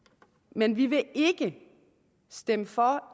men vi vil ikke stemme for